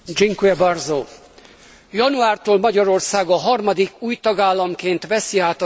Januártól Magyarország a harmadik új tagállamként veszi át az EU soros elnökségét.